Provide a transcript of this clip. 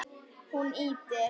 Hún ýtir